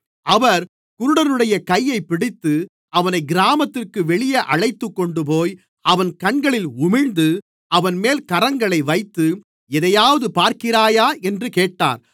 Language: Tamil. அவர் குருடனுடைய கையைப் பிடித்து அவனைக் கிராமத்திற்கு வெளியே அழைத்துக்கொண்டுபோய் அவன் கண்களில் உமிழ்ந்து அவன்மேல் கரங்களை வைத்து எதையாவது பார்க்கிறாயா என்று கேட்டார்